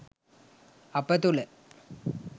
අප තුළ